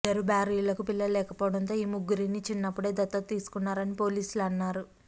ఇద్దరు భార్యలకు పిల్లలు లేకపోవడంతో ఈ ముగ్గురిని చిన్నప్పుడే దత్తత తీసుకున్నారని పోలీసులు అన్నారు